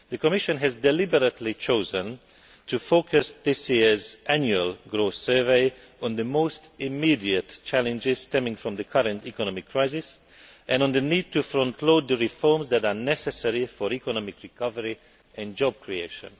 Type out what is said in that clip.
The Commission has deliberately chosen to focus this year's Annual Growth Survey on the most immediate challenges stemming from the current economic crisis and on the need to frontload the reforms that are necessary for economic recovery and job creation.